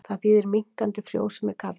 Það þýðir minnkandi frjósemi karla.